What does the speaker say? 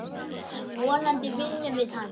Vonandi vinnum við hann.